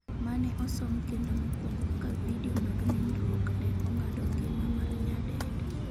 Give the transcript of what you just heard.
mane osom kendo mokwongo kaka vidio mag nindruok ne ong'ado ngima mar nyadendi